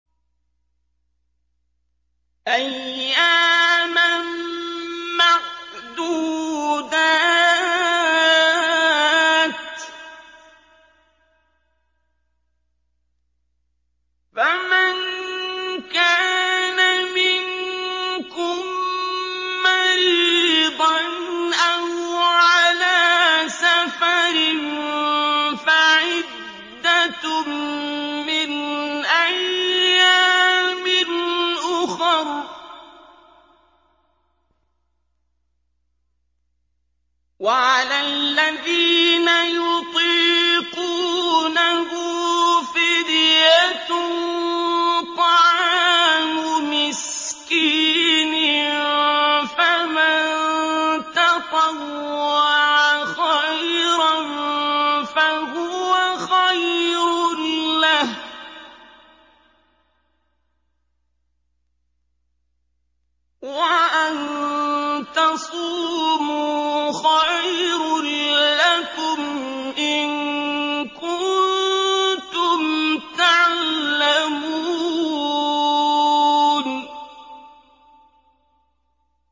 أَيَّامًا مَّعْدُودَاتٍ ۚ فَمَن كَانَ مِنكُم مَّرِيضًا أَوْ عَلَىٰ سَفَرٍ فَعِدَّةٌ مِّنْ أَيَّامٍ أُخَرَ ۚ وَعَلَى الَّذِينَ يُطِيقُونَهُ فِدْيَةٌ طَعَامُ مِسْكِينٍ ۖ فَمَن تَطَوَّعَ خَيْرًا فَهُوَ خَيْرٌ لَّهُ ۚ وَأَن تَصُومُوا خَيْرٌ لَّكُمْ ۖ إِن كُنتُمْ تَعْلَمُونَ